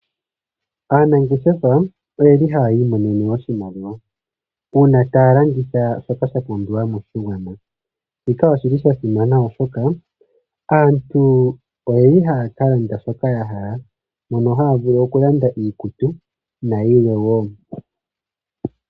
Aanangeshefa oyeli haya iimonene oshimaliwa, uuna taya landitha shoka sha pumbiwa moshigwana, shika oshili sha simana. Aaantu oyeli haya ka landa shoka yahala, moka haya vulu oku landa iikutu na yilwe wo.